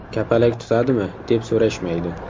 Kapalak tutadimi?” deb so‘rashmaydi.